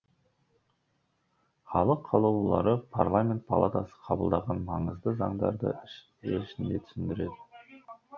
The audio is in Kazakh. халық қалаулылары парламент палатасы қабылдаған маңызды заңдарды ел ішінде түсіндіреді